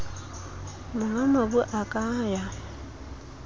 monga mobu a ka ya